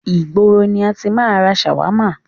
Ìgboro ni a ti máa ń ra ṣàwámà.